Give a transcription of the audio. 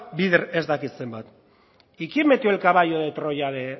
bider ez dakit zenbat y quién metió el caballo de troya de